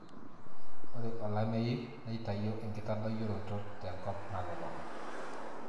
ore olameyu neitayio enkitadoyioroto te nkop nalulung'a